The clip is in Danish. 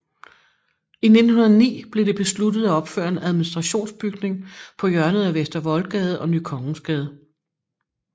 I 1909 blev det besluttet at opføre en administrationsbygning på hjørnet af Vester Voldgade og Ny Kongensgade